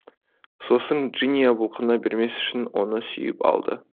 сосын джиния бұлқына бермес үшін оны сүйіп алды